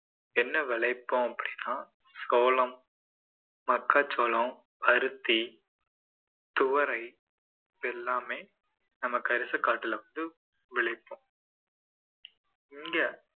என்ன விளைப்போம் அப்படின்னா சோளம், மக்காச்சோளம், அரிசி, துவரை இது எல்லாமே நம்ம கரிசக்காட்டுல வந்து விளைப்போம் இங்க